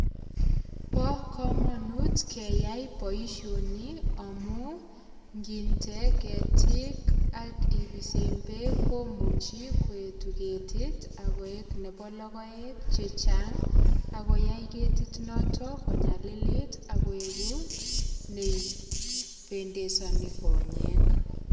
Bo komonut keyai boisioni amu nginde ketiik ak ibisen beek komuchi koetu ketit ak koik nebo logoek chechang ak koyai ketit noton konyalilt ak koibu nependesoni konyek